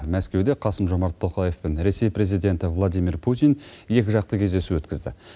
мәскеуде қасым жомарт тоқаев пен ресей президенті владимир путин екіжақты кездесу өткізді